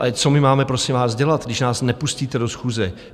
Ale co my máme, prosím vás, dělat, když nás nepustíte do schůze?